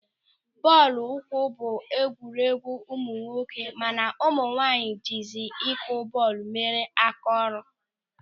Bọọlụ ụkwụ bụ egwugwu ụmụnwoke mana ụmụnwaanyị jizi ịkụ bọọlụ mere áká ọrụ.